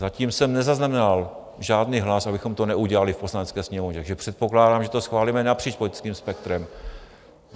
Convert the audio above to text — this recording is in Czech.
Zatím jsem nezaznamenal žádný hlas, abychom to neudělali v Poslanecké sněmovně, takže předpokládám, že to schválíme napříč politickým spektrem.